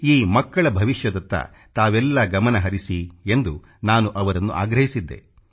ಈ ಮಕ್ಕಳ ಭವಿಷ್ಯದತ್ತ ತಾವೆಲ್ಲ ಗಮನಹರಿಸಿ ಎಂದು ನಾನು ಅವರನ್ನು ಆಗ್ರಹಿಸಿದ್ದೆ